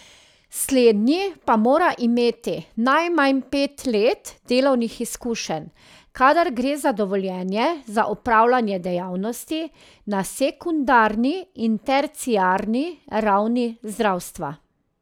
Slednji pa mora imeti najmanj pet let delovnih izkušenj, kadar gre za dovoljenje za opravljanje dejavnosti na sekundarni in terciarni ravni zdravstva.